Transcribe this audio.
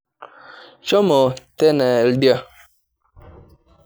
Shomo teena oldia.